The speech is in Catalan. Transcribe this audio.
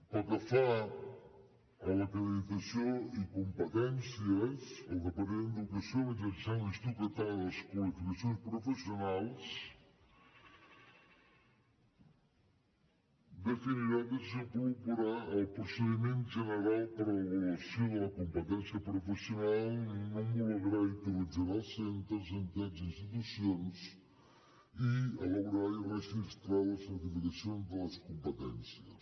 pel que fa a l’acreditació i competències el departament d’educació mitjançant l’institut català de les qualificacions professionals definirà i desenvoluparà el procediment general per a l’avaluació de la competència professional n’homologarà i autoritzarà els centres entitats i institucions i elaborarà i registrarà les certificacions de les competències